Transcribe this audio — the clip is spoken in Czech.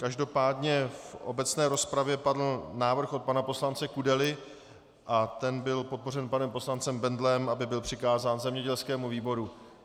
Každopádně v obecné rozpravě padl návrh od pana poslance Kudely a ten byl podpořen panem poslancem Bendlem, aby byl přikázán zemědělskému výboru.